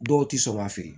Dɔw ti sɔn ka feere